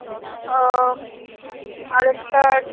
আহ আরেকটার